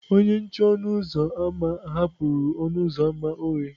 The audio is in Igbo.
Onye nche ọnụ ụzọ ámá hapụrụ ọnụ ụzọ ámá oghe.